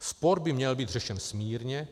Spor by měl být řešen smírně.